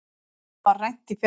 Honum var rænt í febrúar.